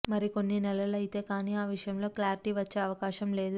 మరి కొన్ని నెలలు అయితే కాని ఆ విషయంలో క్లారిటీ వచ్చే అవకాశం లేదు